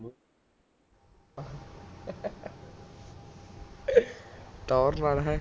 ਟੋਹਰ ਨਾਲ ਹੈਂ